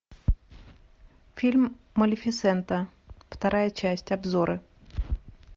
фильм малефисента вторая часть обзоры